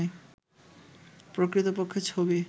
প্রকৃতপক্ষে ছবি